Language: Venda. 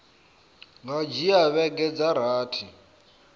nga dzhia vhege dza rathi